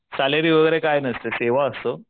Salary वैग्रे काय नसत सेवा असते.